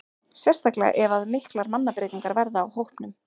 Sérstaklega ef að miklar mannabreytingar verða á hópnum.